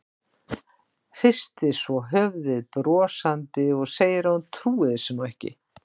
Hristir svo höfuðið brosandi og segir að hún trúi þessu nú ekki.